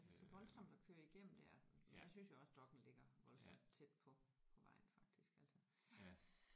Det er så voldsomt at køre igennem der. Der synes jeg også Dokk1 ligger voldsomt tæt på på vejen faktisk altså